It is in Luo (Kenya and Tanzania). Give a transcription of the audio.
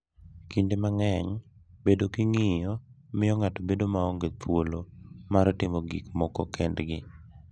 Kinde mang’eny, bedo gi ng’iyo miyo ng’ato bedo maonge thuolo mar timo gik moko kendgi